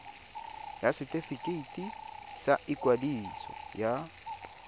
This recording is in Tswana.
ya setefikeiti sa ikwadiso ya